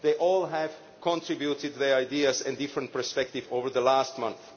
They all have contributed their ideas and different perspectives over the last month.